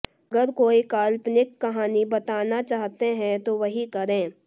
अगर कोई काल्पनिक कहानी बताना चाहते हैं तो वही करें